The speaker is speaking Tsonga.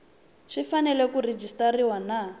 swi fanele ku rejistariwa na